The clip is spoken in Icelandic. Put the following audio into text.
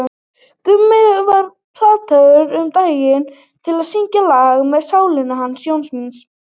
Gummi var plataður um daginn til að syngja lag með Sálinni hans Jóns míns.